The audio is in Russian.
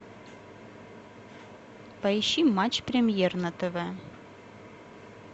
поищи матч премьер на тв